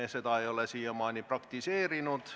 Me seda ei ole siiamaani praktiseerinud.